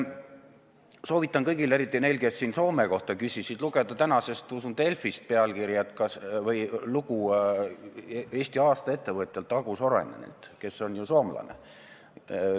Soovitan kõigil, eriti neil, kes siin Soome kohta küsisid, lugeda tänasest Delfist lugu Eesti aasta ettevõtjalt Aku Sorainenilt, kes on ju soomlane.